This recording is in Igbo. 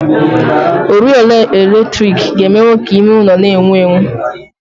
Oriọna eletrik ga-emenwụ ka ime ụlọ n'enwu enwu